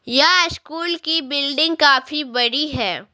यह स्कूल की बिल्डिंग काफी बड़ी है।